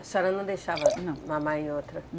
A senhora não deixava... Não... Mamar em outra?